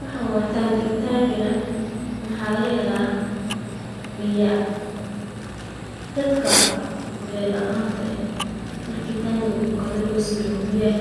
Waxaan waa Tangi, waxaa laga helaa biya, dadka biya laanta ah biya ayeey